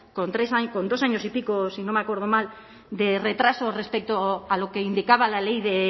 con dos años y pico si no me acuerdo mal de retraso respecto a lo que indicaba la ley